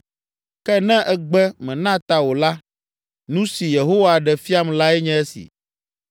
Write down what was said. Ke ne ègbe, mèna ta o la, nu si Yehowa ɖe fiam lae nye esi: